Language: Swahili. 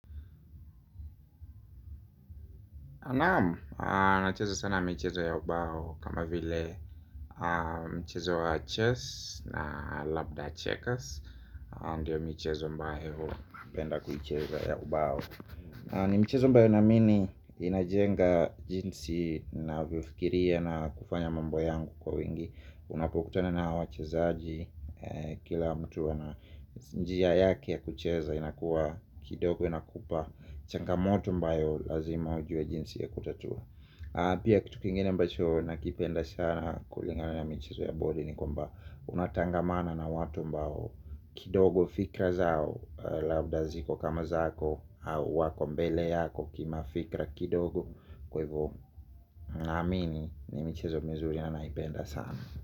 Nam, nachezo sana mchezo ya ubao kama vile mchezo wa chess na labda checkers ndio michezo ambayo napenda kuicheza ya ubao. Ni michezo ambayo naamini inajenga jinsi navyofikiria na kufanya mambo yangu kwa wingi. Unapokutona na ha wachezaji kila mtu ana njia yake ya kucheza inakuwa kidogo inakupa changamoto ambayo lazima ujue jinsi ya kutatua. Pia kitu kingine ambacho na kipenda sana kulingana na michezo ya bodi ni kwamba unatangamana na watu ambao kidogo fikra zao labda ziko kama zako au wako mbele yako kimafikra kidogo kwa hivo. Naamini ni michezo mzuri na naipenda sana.